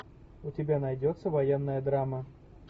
у тебя найдется военная драма